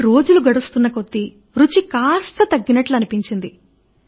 కానీ రోజులు గడుస్తూన్న కొద్దీ రుచి కాస్త తగ్గినది